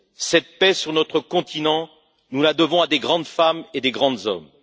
Cette paix sur notre continent, nous la devons à de grandes femmes et de grands hommes.